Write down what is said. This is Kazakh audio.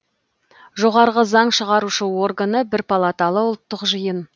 жоғарғы заң шығарушы органы бір палаталы ұлттық жиын